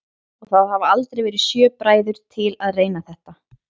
Og það hafa aldrei verið sjö bræður til að reyna þetta?